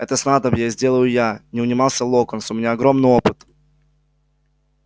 это снадобье сделаю я не унимался локонс у меня огромный опыт